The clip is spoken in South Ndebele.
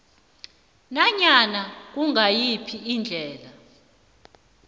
nanyana kungayiphi indlela